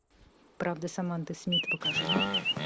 правда саманты смит покажи